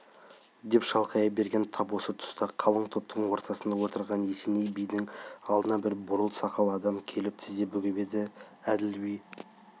деп шалқая берген тап осы тұста қалың топтың ортасында отырған есеней бидің алдына бір бурыл сақал адам келіп тізе бүгіп еді әділ би